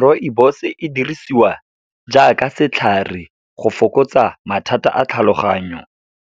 Rooibos-e e dirisiwa jaaka setlhare, go fokotsa mathata a tlhaloganyo.